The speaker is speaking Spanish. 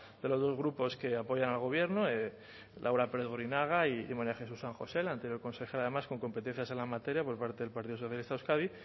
de los dos grupos que apoyan al gobierno laura pérez borinaga y maría jesús san josé la anterior consejera además con competencias por parte del partido socialista de euskadi